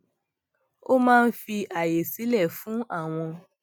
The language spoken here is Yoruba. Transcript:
ó máa ń fi àyè sílẹ fún àwọn